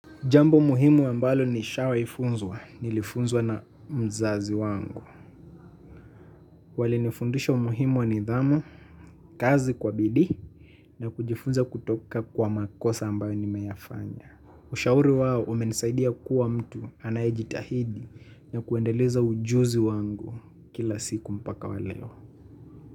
Jambo muhimu ambalo nishawai funzwa, nilifunzwa na mzazi wangu. Walinifundisha umuhimu wa nidhamu, kazi kwa bidii, na kujifunza kutoka kwa makosa ambayo nimeyafanya. Ushauri wao umenisaidia kuwa mtu anayeijitahidi na kuendeleza ujuzi wangu kila siku mpaka wa leo.